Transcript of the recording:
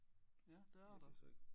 Ja det er der